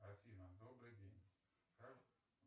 афина добрый день как